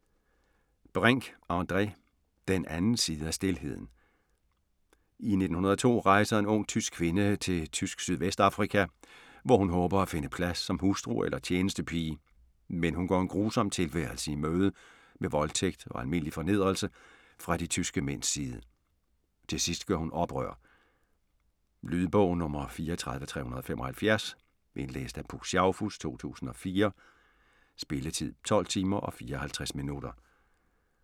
Brink, André: Den anden side af stilheden I 1902 rejser en ung tysk kvinde til Tysk Sydvestafrika, hvor hun håber at finde plads som hustru eller tjenestepige, men hun går en grusom tilværelse i møde, med voldtægt og almindelig fornedrelse fra de tyske mænds side. Til sidst gør hun oprør. Lydbog 34375 Indlæst af Puk Schaufuss, 2004. Spilletid: 12 timer, 54 minutter.